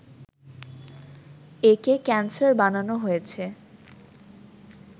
একে ক্যানসার বানানো হয়েছে